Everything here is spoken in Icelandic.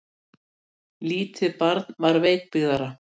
Lítið barn var veikbyggðara.